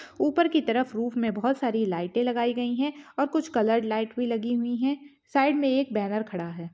ऊपर की तरफ रुफ मे बहुत सारी लाइट लगाई गई है और कुछ कलर लाइट भी लगी हुई है साइड में एक बैनर खड़ा है।